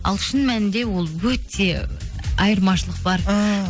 ал шын мәнінде ол өте айырмашылық бар ііі